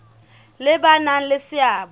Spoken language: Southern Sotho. le ba nang le seabo